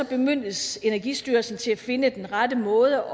bemyndiges energistyrelsen til at finde den rette måde